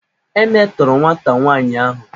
E metọrọ nwata nwaanyi ahụ.